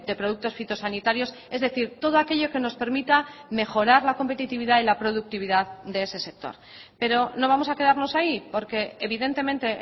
productos fitosanitarios es decir todo aquello que nos permita mejorar la competitividad y la productividad de ese sector pero no vamos a quedarnos ahí porque evidentemente